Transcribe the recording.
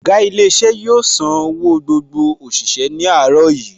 Ọ̀gá ilé iṣẹ́ yóò san owó gbogbo òṣìṣẹ́ ní àárọ̀ yìí